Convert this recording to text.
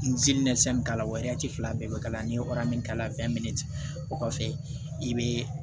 min k'a la o fila bɛɛ bɛ k'a la n'i ye min k'a la o kɔfɛ i bɛ